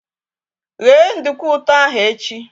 Ghe nduku ụtọ ahụ echi!